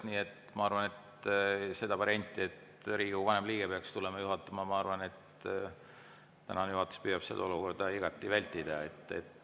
Nii et ma arvan, et seda varianti, et Riigikogu vanim liige peaks tulema juhatama, püüab juhatus igati vältida.